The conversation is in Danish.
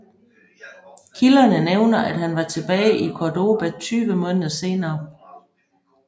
Kilderne nævner at han var tilbage i Córdoba 20 måneder senere